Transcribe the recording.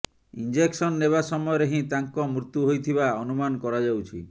injection ନେବା ସମୟରେ ହିଁ ତାଙ୍କ ମୃତ୍ୟୁ ହୋଇଥବା ଅନୁମାନ କରାଯାଉଛି